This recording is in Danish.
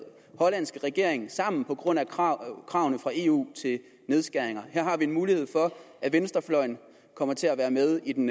hollandske regering sammen på grund af kravene kravene fra eu til nedskæringer her har vi en mulighed for at venstrefløjen kommer til at være med i den